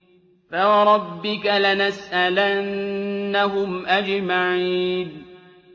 فَوَرَبِّكَ لَنَسْأَلَنَّهُمْ أَجْمَعِينَ